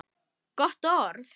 Gott orð.